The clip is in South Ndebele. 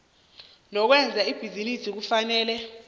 lokwenza ibhizinisi kufanele